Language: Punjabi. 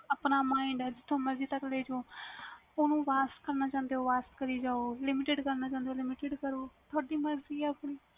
ਆਪਣਾ mind ਆ ਜਿਥੋਂ ਤਕ ਮਰਜੀ ਲੈ ਜਾਓ ਓਨੂੰ varste ਕਰਨਾ ਚਾਹੁੰਦੇ ਹੋ varste ਕਰੀ ਜਾਯੋ limited ਕਰਨਾ ਚਾਹੁੰਦੇ ਹੋ limited ਕਰੀ ਜਾਯੋ ਤੁਹਾਡੀ ਮਰਜ਼ੀ ਆ